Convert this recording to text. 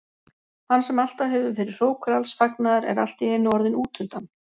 Hann sem alltaf hefur verið hrókur alls fagnaðar er allt í einu orðinn útundan.